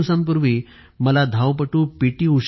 काही दिवसांपूर्वी मला धावपटू पी